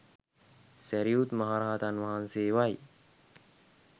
සැරියුත් මහරහතන් වහන්සේවයි.